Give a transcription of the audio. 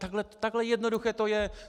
Takhle jednoduché to je.